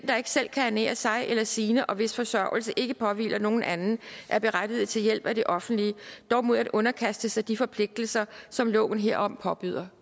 der ikke selv kan ernære sig eller sine og hvis forsørgelse ikke påhviler nogen anden er berettiget til hjælp af det offentlige dog mod at underkaste sig de forpligtelser som loven herom påbyder